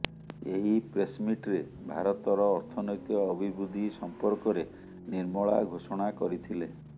ଏହି ପ୍ରେସ୍ମିଟ୍ରେ ଭାରତର ଅର୍ଥନୈତିକ ଅଭିବୃଦ୍ଧି ସମ୍ପର୍କରେ ନିର୍ମଳା ଘୋଷଣା କରିଥିଲେ